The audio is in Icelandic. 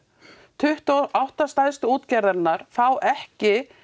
tuttugu og átta stærstu útgerðirnar fá ekki